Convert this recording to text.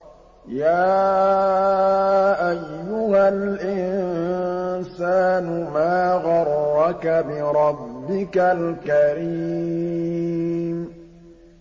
يَا أَيُّهَا الْإِنسَانُ مَا غَرَّكَ بِرَبِّكَ الْكَرِيمِ